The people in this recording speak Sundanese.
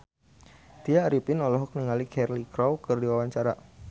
Tya Arifin olohok ningali Cheryl Crow keur diwawancara